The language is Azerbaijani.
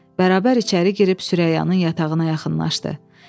Bərabər içəri girib Süreyyanın yatağına yaxınlaşdı.